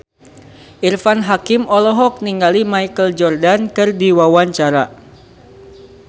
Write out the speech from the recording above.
Irfan Hakim olohok ningali Michael Jordan keur diwawancara